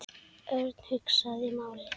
Örn hugsaði málið.